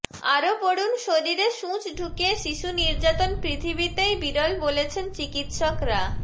আরও পড়ুন শরীরে সূচ ঢুকিয়ে শিশু নির্যাতন পৃথিবীতেই বিরল বলছেন চিকিৎসকরা